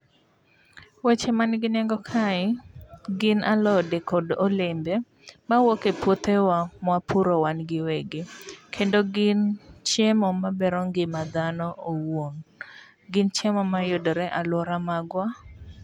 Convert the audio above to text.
Weche man gi nengo kae gin alode kod olembe ma wuok e puothewa mwa puro wan gi wegi. Kendo gin chiemo ma gero ngima dhano owuon. Gin chiemo ma yudore e alwora magwa.